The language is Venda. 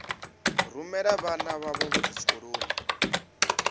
rumela vhana vhavho vhothe tshikoloni